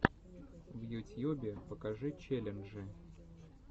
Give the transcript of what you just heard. в ютьюбе покажи челленджи